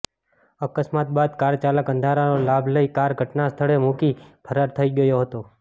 અકસ્માત બાદ કાર ચાલક અંધારાનો લાભ લઈ કાર ઘટનાસ્થળે મૂકી ફરાર થઈ ગયો હતો